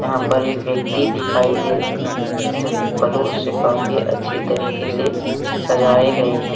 यहां पर एक व्यक्ति दिखाई दे रहे हैं जो कि फलों से काफी अच्छी तरीके से सजाए गए हैं।